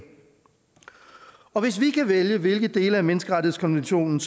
og hvis vi kan vælge hvilke dele af menneskerettighedskonventionen